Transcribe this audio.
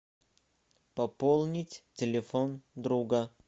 пополнить телефон друга